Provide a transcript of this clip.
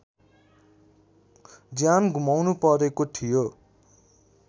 ज्यान गुमाउनुपरेको थियो